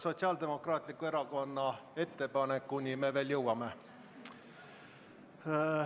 Sotsiaaldemokraatliku Erakonna ettepanekuni me veel jõuame.